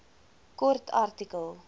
kort artikel